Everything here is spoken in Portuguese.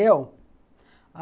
Eu?